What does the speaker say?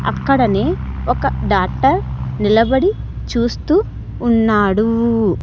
అక్కడనే ఒక డాక్టర్ నిలబడి చూస్తూ ఉన్నాడు.